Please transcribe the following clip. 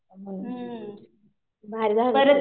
हम्म. भारी झालं.